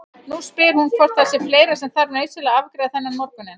Nú spyr hún hvort það sé fleira sem þarf nauðsynlega að afgreiða þennan morguninn.